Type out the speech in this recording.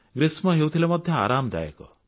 ଗ୍ରୀଷ୍ମ ହେଉଥିଲେ ମଧ୍ୟ ଆରାମଦାୟକ